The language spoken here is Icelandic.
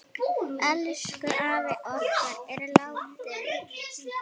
Elsku afi okkar er látinn.